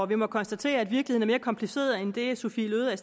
vi må konstatere at virkeligheden er mere kompliceret end det sophie løhde er